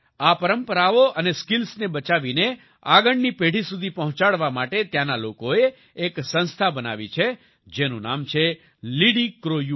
આ પરંપરાઓ અને સ્કિલ્સને બચાવીને આગળની પેઢી સુધી પહોંચાડવા માટે ત્યાંના લોકોએ એક સંસ્થા બનાવી છે જેનું નામ છે લિડીક્રોયૂ